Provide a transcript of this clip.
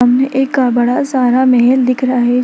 सामने एक अ बड़ा सारा महल दिख रहा है।